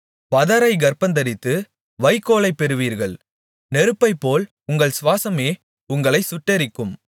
பதரைக் கர்ப்பந்தரித்து வைக்கோலைப் பெறுவீர்கள் நெருப்பைப்போல் உங்கள் சுவாசமே உங்களை சுட்டெரிக்கும்